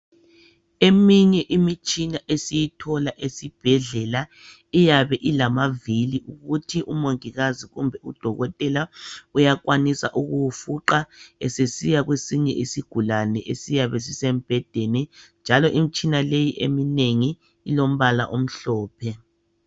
Eminye imitshina esiyithola esibhedlela iyabe ilamavili ukuthi umongikazi kumbe udokotela uyakwanisa ukuwufuqa esesiya kwesinye isigulane esiyabe sisembhedeni njalo imitshina leyi eminengi ilombala omhlophe.